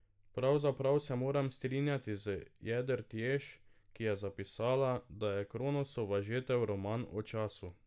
Pravzaprav se moram strinjati z Jedrt Jež, ki je zapisala, da je Kronosova žetev roman o času.